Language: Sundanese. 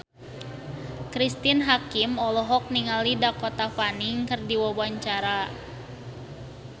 Cristine Hakim olohok ningali Dakota Fanning keur diwawancara